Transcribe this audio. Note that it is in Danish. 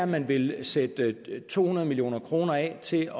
man vil er sætte to hundrede million kroner af til